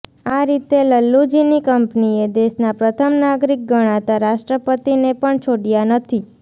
આ રીતે લલ્લુજીની કંપનીએ દેશના પ્રથમ નાગરીક ગણાતા રાષ્ટ્રપતિને પણ છોડયા નથી